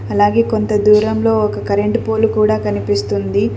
అలాగే కొంత దూరంలో ఒక కరెంటు పోలు కూడా కనిపిస్తుంది.